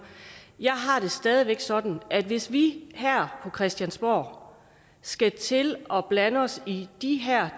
jeg har det stadig væk sådan at hvis vi her på christiansborg skal til at blande os i de